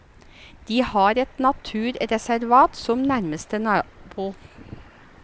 De har et naturreservat som nærmeste nabo.